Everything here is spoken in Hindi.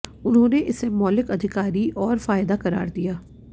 उन्होंने इसे मौलिक अधिकारी और फायदा करार दिया